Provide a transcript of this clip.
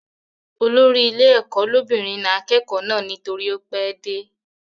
Olórí ilé ẹ̀kọ́ lóbìnrin na akẹ́kọ̀ọ́ náà nítorí ó pẹ́ dé